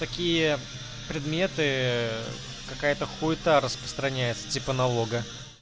такие предметы какая-то хуита распространяется типа налога